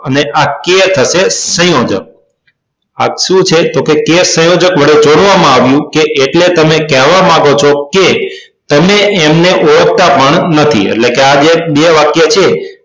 અને આ કે થશે સંયોજક આ સુ છે કે કે સંયોજક વડે જોડવામાં આવ્યું કે એટલે તમે કહેવા માંગો છો કે તમે એને ઓળખતા પણ નથી એટલે કે આ બે વાક્ય છે